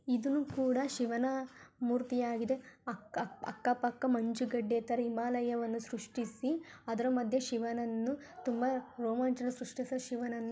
ಇದುನು ಕೂಡ ಶಿವನ ಮೂರ್ತಿಯಾಗಿದೆ ಅಕ್ಕ ಅಕ್ಕ ಪಕ್ಕ ಮಂಜುಗಡ್ಡೆ ತರ ಹಿಮಲಯವನ್ನು ಷ್ರುಷ್ಟಿಸಿ ಅದರ ಮದ್ಯ ಶಿವನನ್ನು ತುಂಬಾ ರೋಮಾಂಚನ ಷ್ರುಷ್ಟಿಸ ಶಿವನನ್ನು --